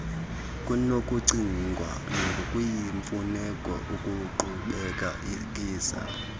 kunokucingwa ngokuyimfuneko ukuqhubekekisa